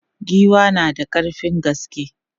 Giwa na da ƙarfin gaske.